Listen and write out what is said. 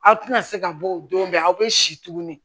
Aw tɛna se ka bɔ o don bɛ aw bɛ si tuguni